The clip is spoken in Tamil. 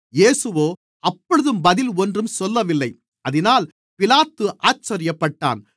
இயேசுவோ அப்பொழுதும் பதில் ஒன்றும் சொல்லவில்லை அதினால் பிலாத்து ஆச்சரியப்பட்டான்